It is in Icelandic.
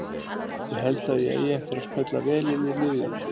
Ég held að ég eigi eftir að smella vel inn í liðið.